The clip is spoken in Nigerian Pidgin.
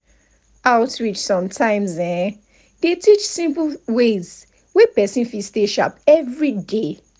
outreach sometimes[um]dey teach simple ways wey person fit stay sharp everyday.